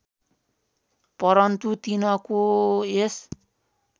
परन्तु तिनको यस